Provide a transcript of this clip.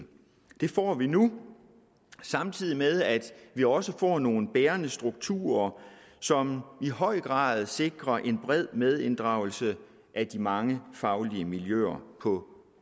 det får vi nu samtidig med at vi også får nogle bærende strukturer som i høj grad sikrer en bred medinddragelse af de mange faglige miljøer på